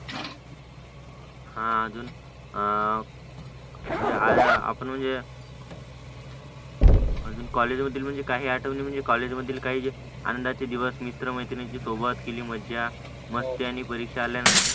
हा अजून आ आपण म्हणजे अजून कॉलेजमधील म्हणजे काही आठवणी म्हणजे कॉलेजमधील काही आनंदाचे दिवस मित्र-मैत्रिणींचे सोबत केलेली मज्जा मस्ती आणि परिचलन